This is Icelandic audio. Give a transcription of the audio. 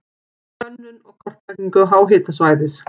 Könnun og kortlagning háhitasvæðis.